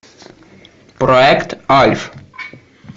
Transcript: проект альф